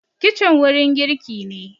kicin wurin girki ne